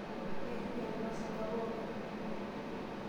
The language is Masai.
Eishunyate irmashungwa pookin.